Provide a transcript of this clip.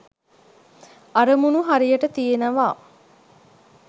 අරමුණු හරියට තියෙනවා